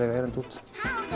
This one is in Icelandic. eiga erindi út